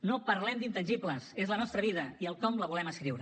no parlem d’intangibles és la nostra vida i el com la volem escriure